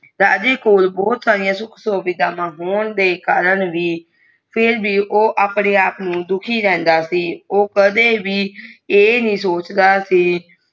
ਰਾਜਾ ਕੋ ਬਹੁਤ ਸਾਰੀਆਂ ਸੁਖ ਸੁਵਿਧਾ ਹੋਣੇ ਦੇਹ ਕਰਨ ਫਿਰ ਵੀ ਆਪਣੇ ਆਪ ਨੂੰ ਦੁਖੀ ਰੰਧਾ ਸੀ ਓ ਕਦੇ ਵੀ ਆ ਨਹੀਂ ਸੋਚ